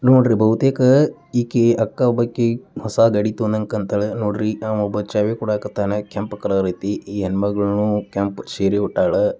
ನೋಡ್ರಿ ಬಹುತೇಕ ಈಕೆ ಅಕ್ಕಾ ಬಕ್ಕಿ ಹೊಸ ಗಾಡಿ ತಗೊಂಡಗೆ ಕಾಂತಾಳ ನೋಡ್ರಿ ಅವ್ನ್ಒಬ್ಬ ಚಾವಿ ಕೊಡಕತ್ತಾನ. ಕೆಂಪು ಕಲರ್ ಐತಿ ಈ ಹೆಣ್ ಮಗಳು ಕೆಂಪು ಸೀರೆ ಉಟ್ಟಾಳ.